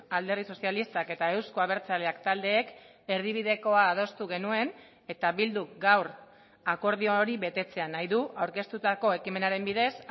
alderdi sozialistak eta euzko abertzaleak taldeek erdibidekoa adostu genuen eta bilduk gaur akordio hori betetzea nahi du aurkeztutako ekimenaren bidez